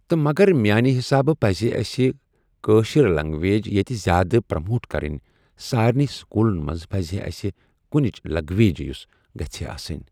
تہٕ مَگر میانہِ حِسابہٕ پَزے اَسہِ کٲشِر لینگویج ییٚتہِ زیادٕ پراموٹ کَرٕنۍ سارنٕے سکوٗلن منٛز پَزِہے اَسہِ کُنِچ لینگویج یُس گژھہے آسٕنۍ۔